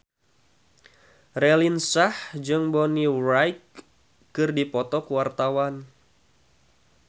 Raline Shah jeung Bonnie Wright keur dipoto ku wartawan